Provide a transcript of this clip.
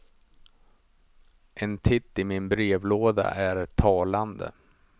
En titt i min brevlåda är talande.